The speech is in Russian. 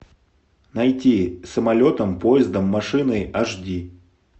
найти самолетом поездом машиной аш ди